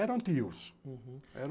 Eram tios. Uhum.